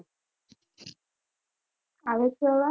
આવે છે અવાજ